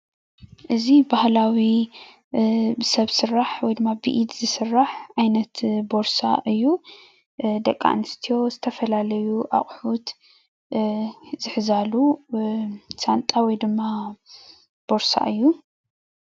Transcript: እዚ ባህላዊ ሰብ ስራሕ ወይ ድማ ብኢድ ዝስራሕ ዓይነት ቦርሳ እዩ፡፡ ደቂ ነስትዮ ዝተፈላለዩ ኣቁሑት ዝሕዛሉ ሳንጣ ወይ ድማ ቦርሳ እዩ፡፡